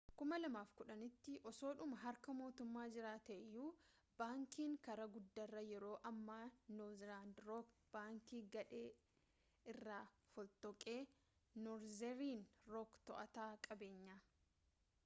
2010’tti osoodhuma harka mootummaa jiraatee iyyuu bankiin karaa guddaarraa yeroo ammaa noorzerni rook plc’n ‘baankii gadhee’ irraa fottoqe norzerni rook to’ataa qabeenyaa